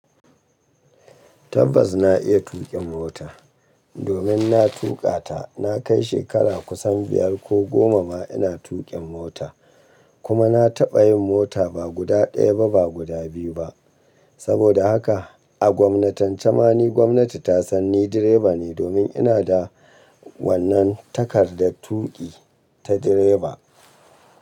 Tabbas na iya tuƙin mota domin na tuƙa ta. Na kai shekara kusan biyar ko goma ba ina tuƙin mota kuma na taɓa yin mota ba guda ɗaya ba, guda biyu ba. Saboda haka a gwamnatance mani gwamnati ta san ni direba ne domin ina da wannan takardar tuƙi ta direba.